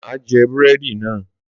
Má jẹ búrẹ́dì náà.